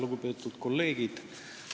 Lugupeetud kolleegid!